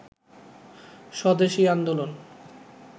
স্বদেশি আন্দোলন